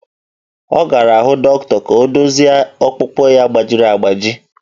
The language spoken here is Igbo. Ọ gara hụ dọkịta ka ọ dozie ọkpụkpụ ya gbajiri agbaji